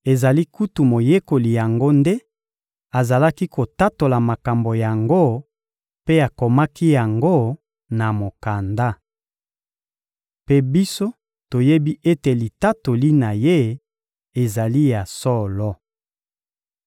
Ezali kutu moyekoli yango nde azali kotatola makambo yango mpe akomaki yango na mokanda. Mpe biso toyebi ete litatoli na ye ezali ya solo.